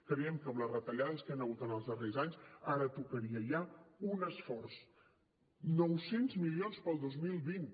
creiem que amb les retallades que hi han hagut en els darrers anys ara tocaria ja un esforç nou cents milions per al dos mil vint